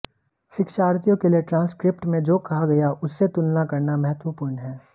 शिक्षार्थियों के लिए ट्रांसक्रिप्ट में जो कहा गया उससे तुलना करना महत्वपूर्ण है